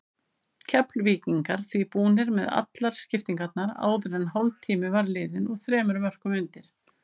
Keflvíkingar því búnir með allar skiptingarnar áður en hálftími var liðinn og þremur mörkum undir.